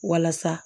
Walasa